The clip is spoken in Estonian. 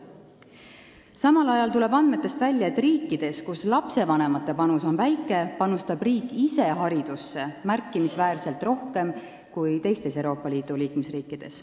Samal ajal tuleb andmetest välja, et riikides, kus lastevanemate panus on väike, panustab riik ise haridusse märkimisväärselt rohkem kui teistes Euroopa Liidu liikmesriikides.